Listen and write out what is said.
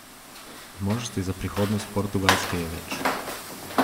Možnosti za prihodnost Portugalske je več.